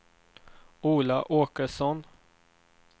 Ola Åkesson